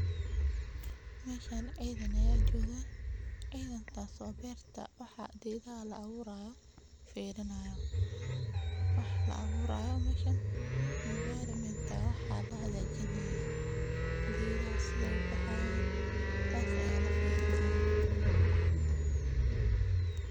Meeshan ciidan ayaa jooga, ciidankaas oo geedaha la abuurayo fiirinaayo, wax la abuurayo meeshan environment ayaa lahagaajin haaya, geedaha saay ubixi haayan ayaa lafiirini haaya.